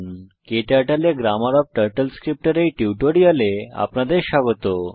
ক্টার্টল এ grammar of turtle script এর এই টিউটোরিয়ালে আপনাদের স্বাগত